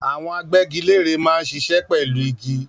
Àwọn agbẹ́giléèrè máa ń ṣiṣẹ́ pẹ̀lú igi.